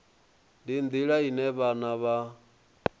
ndi nḓila ine vhanna vha